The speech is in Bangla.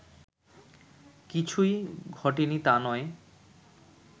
কিছূই ঘটেনি তা নয়